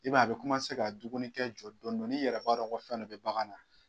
I b'a ye a bɛ ka dugunikɛ jɔ dɔɔni dɔɔni i yɛrɛ b'a dɔn ko fɛn dɔ bɛ bagan na.